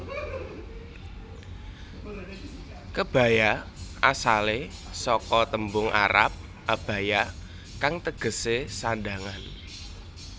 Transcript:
Kebaya asalé saka tembung arab abaya kang tegesé sandhangan